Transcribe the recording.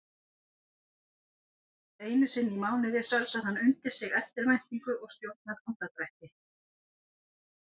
Einusinni í mánuði sölsar hann undir sig eftirvæntingu og stjórnar andardrætti.